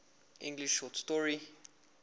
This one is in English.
english short story